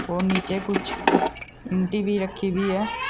और नीचे कुछ ईंटी भी रखी हुई हैं।